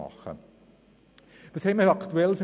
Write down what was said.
So war auch die Diskussion in